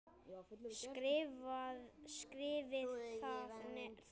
Skrifið þá niður.